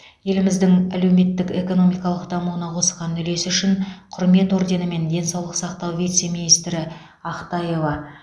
еліміздің әлеуметтік экономикалық дамуына қосқан үлесі үшін құрмет орденімен денсаулық сақтау вице министрі ақтаева